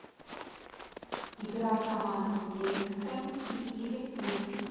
игра команд вест хэм и ливерпуль